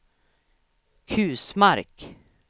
Kusmark